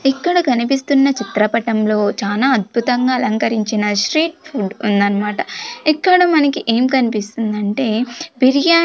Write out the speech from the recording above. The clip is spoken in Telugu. ఇక్కడ కనిపిస్తున్న చిత్రపటంలో చానా అద్భుతంగా అలంకరించిన స్ట్రీట్ ఫుడ్ ఉందన్నమాట. ఇక్కడ మనకి ఏం కనిపిస్తుందంటే బిర్యాని --